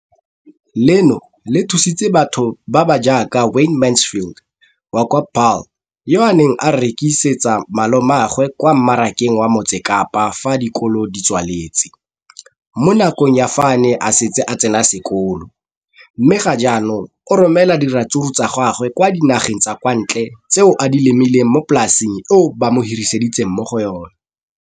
Leno le thusitse batho ba ba jaaka Wayne Mansfield, 33, wa kwa Paarl, yo a neng a rekisetsa malomagwe kwa Marakeng wa Motsekapa fa dikolo di tswaletse, mo nakong ya fa a ne a santse a tsena sekolo, mme ga jaanong o romela diratsuru tsa gagwe kwa dinageng tsa kwa ntle tseo a di lemileng mo polaseng eo ba mo hiriseditseng yona.